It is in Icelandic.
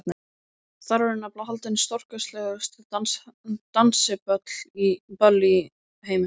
Þar eru nefnilega haldin stórkostlegustu dansiböll í heimi.